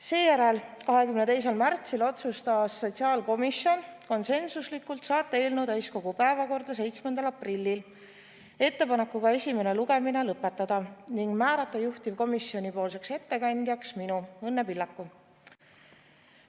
Seejärel, 22. märtsil otsustas sotsiaalkomisjon konsensuslikult saata eelnõu täiskogu päevakorda 7. aprilliks ettepanekuga esimene lugemine lõpetada ning määrata juhtivkomisjoni ettekandjaks minu, Õnne Pillaku.